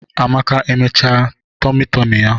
Amake emechaa tomi tomi ya?